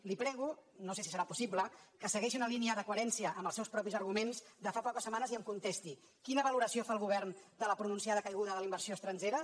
li prego no sé si serà possible que segueixi una línia de coherència amb els seus propis arguments de fa poques setmanes i em contesti quina valoració fa el govern de la pronunciada caiguda de la inversió estrangera